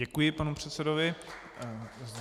Děkuji panu předsedovi.